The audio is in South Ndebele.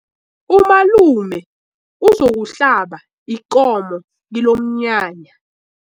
Umalume uzokuhlaba ikomo kilomnyanya.